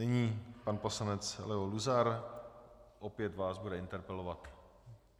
Nyní pan poslanec Leo Luzar, opět vás bude interpelovat.